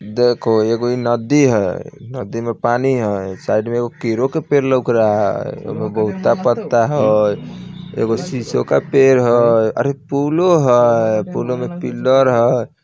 देखो एगो इ नदी हेय नदी में पानी हेय साइड में एगो केरो का पेड़ लग रहा है बहुता पत्ता हैं एगो शीशो का पेड़ हेय अरे पुलो हेय पुलों में पिलर हेय ।